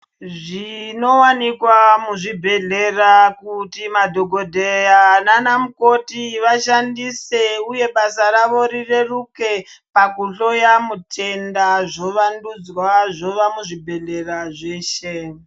Zvinowanikwa muzvibhehlera kuti madhokodheya nanamukoti vashandise uye basa ravo rireruke pakuhloya mutenda zvovandudzwa zvova muzvibhehlera zveshe.